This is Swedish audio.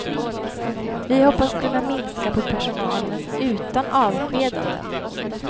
Vi hoppas kunna minska på personalen utan avskedanden.